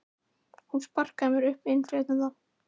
Hún sparkaði mér upp úr innflytjenda